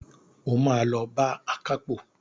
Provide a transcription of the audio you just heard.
O máa lọ bá akápò.